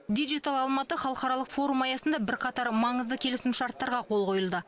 дигитал алматы халықаралық форумы аясында бірқатар маңызды келісім шарттарға қол қойылды